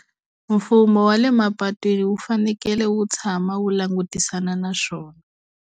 Mfumo wa le mapatwini wu fanekele wu tshama wu langutisana na swona.